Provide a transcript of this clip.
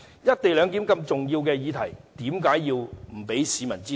"一地兩檢"如此重要的議題，怎能不讓市民知道？